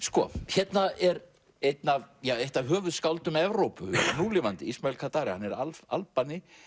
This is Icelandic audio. hérna er eitt af eitt af höfuðskáldum Evrópu núlifandi Ismail Kadaré hann er Albani